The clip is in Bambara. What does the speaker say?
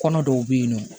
Kɔnɔ dɔw bɛ yen nɔ